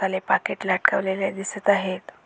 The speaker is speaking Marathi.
मसाले पाकीट लटकवलेले दिसत आहेत.